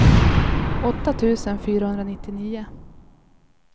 åtta tusen fyrahundranittionio